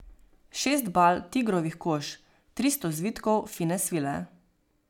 Šest bal tigrovih kož, tristo zvitkov fine svile.